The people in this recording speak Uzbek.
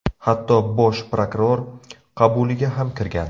Hatto Bosh prokuror qabuliga ham kirgan.